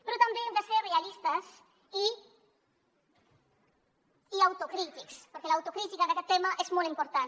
però també hem de ser realistes i autocrítics perquè l’autocrítica en aquest tema és molt important